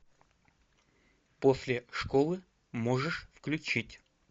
после школы можешь включить